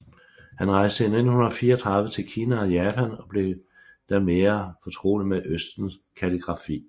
Han rejste i 1934 til Kina og Japan og blev der mere fortrolig med Østens kalligrafi